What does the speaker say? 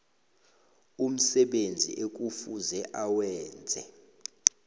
umsebenzi ekufuze awenze